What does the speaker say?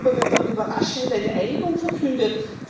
3. November wird dann überraschend eine Einigung verkündet.